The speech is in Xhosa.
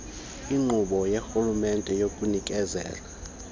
inkqubo karhulumente yokunikezela